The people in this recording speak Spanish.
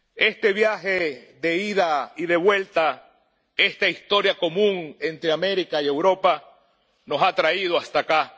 Este viaje de ida y de vuelta, esta historia común entre América y Europa nos ha traído hasta acá.